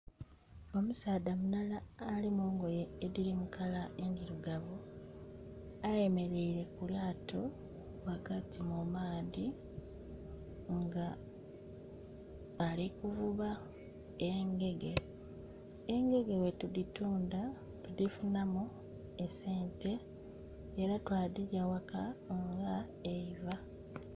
Omusaadha mulala ali mungoye ediri mu kala endhirugavu ayemereire ku lyaato wagati mu maadhi nga ali kuvuba engege. Engege bwetuditunda tudifunamu esente era twadhilya waka nga eiva